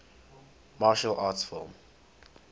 martial arts film